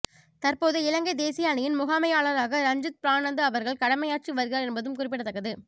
தற்போது இலங்கை தேசிய அணியின் முகாமையாளராக ரஞ்சித் ப்ரனாந்து அவர்கள் கடமையாற்றி வருகிறார் என்பதும் குறிப்பிடத்தக்கது